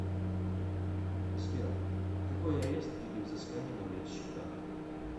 сбер какой арест или взыскания на моих счетах